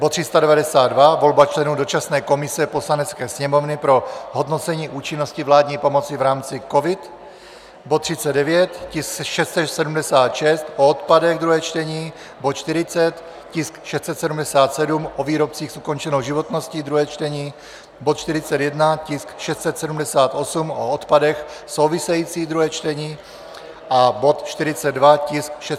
Bod 392 - volba členů dočasné komise Poslanecké sněmovny pro hodnocení účinnosti vládní pomoci v rámci COVID, bod 39, tisk 676, o odpadech, druhé čtení, bod 40, tisk 677 o výrobcích s ukončenou životností, druhé čtení, bod 41, tisk 678, o odpadech, související druhé čtení, a bod 42, tisk 679, o obalech, druhé čtení.